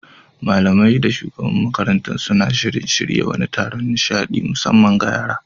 Malamai da shugabar makarantar suna shirin shirya wani taron nishaɗi na musamman ga yara.